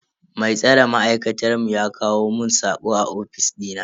Mai tsare ma'aikatar mu ya kawo mun sako a ofis dina.